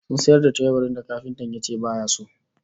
Sun sayar da teburin da kafintan yace baya so